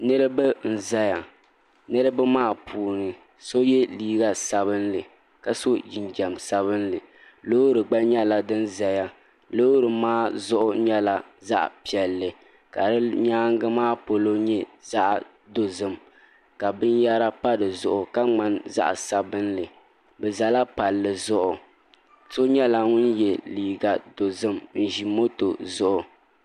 Niraba n ʒɛya niraba maa puuni so yɛ liiga sabinli ka so jinjɛm sabinli loori gba nyɛla din ʒɛya loori maa zuɣu nyɛla zaɣ piɛlli ka di nyaangi maa polo nyɛ zaɣ dozim ka binyɛra pa dizuɣu ka ŋmani zaɣ sabinli bi ʒɛla palli zuɣu so nyɛla ŋun yɛ liiga dozim n ʒi moto zuɣu